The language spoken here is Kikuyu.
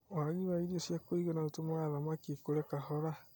Waagi wa irio cia kũigana ũtũmaga thamaki ikũre kahora.